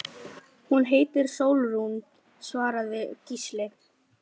Hún heitir Sólrún, svaraði Gísli.